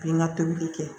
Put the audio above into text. Pe n ka tobili kɛ